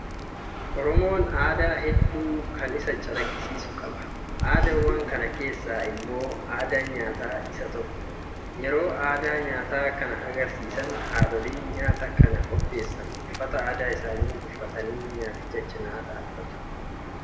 Oromoon aadaa hedduu kan isa calaqqisiisu qaba. Aadaawwan kana keessaa immoo aadaan nyaataa isa tokko. Yeroo Aadaa nyaataa kana agarsiisan haadholiin nyaata kana qopheessan, uffata aadaa isaanii uffatanii nyaaticha cinaa dhaabbatu.